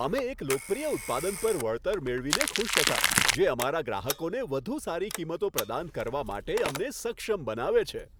અમે એક લોકપ્રિય ઉત્પાદન પર વળતર મેળવીને ખુશ હતા, જે અમારા ગ્રાહકોને વધુ સારી કિંમતો પ્રદાન કરવા માટે અમને સક્ષમ બનાવે છે.